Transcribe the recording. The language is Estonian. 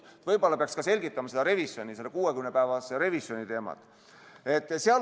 Võib-olla peaks selgitama ka selle 60-päevase revisjoni teemat.